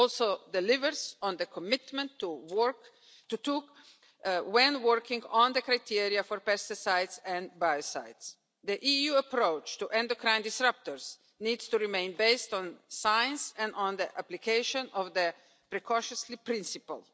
It also delivers on the commitment undertaken when working on the criteria for pesticides and biocides. The EU approach to endocrine disruptors needs to remain based on science and on the application of the precautionary principle.